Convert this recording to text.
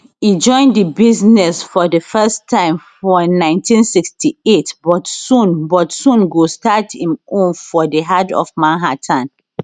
e join di business for di first time for 1968 but soon but soon go start im own for di heart of manhattan